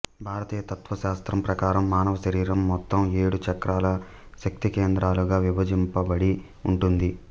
భారతీయ తత్వశాస్త్రం ప్రకారం మానవ శరీరం మొత్తం ఏడు చక్రాలు శక్తికేంద్రాలు గా విభజింపబడి ఉంటుంది